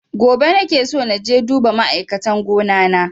Gobe nake so naje duba ma'aikatan gona na